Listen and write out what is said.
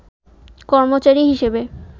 কর্মচারী হিসেবে